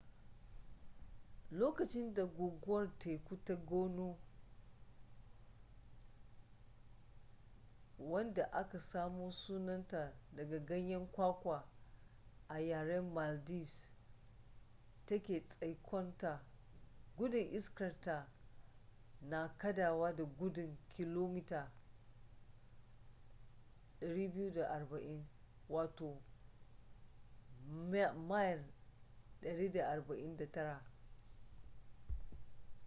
lokacin da guguwar teku ta gonu wadda aka samo sunanta daga ganyen kwakwa a yaren maldives take tsaikonta gudun iskarta na kadawa da gudun kilomita 240 mil 149